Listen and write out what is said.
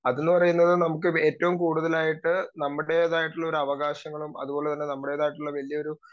speaker 2 അതെന്ന് പറയുന്നത് നമുക്ക് ഏറ്റവും കൂടുതലായിട്ട് നമ്മുടേതായിട്ടുള്ള അവകാശങ്ങളും അതുപോലെതന്നെ വലിയൊരു